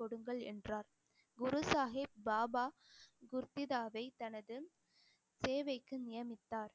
கொடுங்கள் என்றார். குரு சாஹிப் பாபா குர்திதாவை தனது தேவைக்கு நியமித்தார்